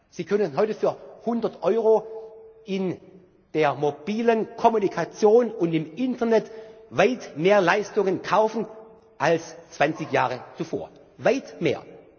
Sie können heute für 100 Euro in der mobilen Kommunikation und im Internet weit mehr Leistungen kaufen als 20 Jahre zuvor weit